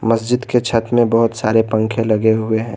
मस्जिद के छत में बहुत सारे पंखे लगे हुए हैं।